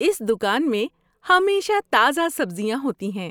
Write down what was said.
اس دکان میں ہمیشہ تازہ سبزیاں ہوتی ہیں!